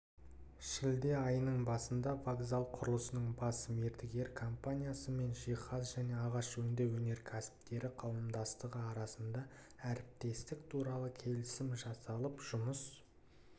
шілде айының басында вокзал құрылысының бас мердігері компаниясы мен жиһаз және ағаш өңдеу өнеркәсіптері қауымдастығы арасында әріптестік туралы келісім жасалып жұмыс